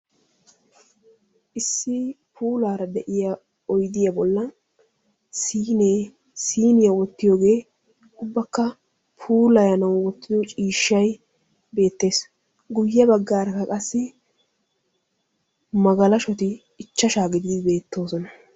Issi puulara de'iyaa oyddiyaa bollaa siine, siiniyaa wottiyooga ubbakka puulayanaw wottido ciishshay beettees; guyye baggaraka qassi magalashshoti ichashsha gidid beettoosona.